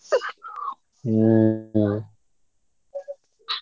ହୁଁ ହୁଁ।